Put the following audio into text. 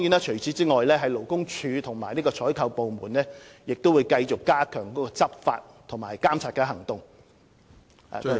除此之外，勞工處和採購部門亦會繼續加強採取執法和監察行動。